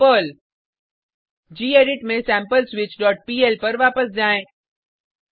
I am Perl gedit में sampleswitchपीएल पर वापस जाएँ